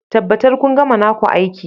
Tabbatar kun gama naku aiki